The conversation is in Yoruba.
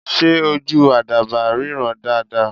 Ṣé ojú àdàbà ríran dáa dáa?